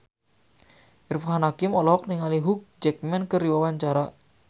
Irfan Hakim olohok ningali Hugh Jackman keur diwawancara